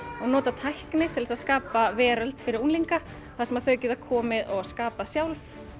og nota tækni til þess að skapa veröld fyrir unglinga þar sem þau geta komið og skapað sjálf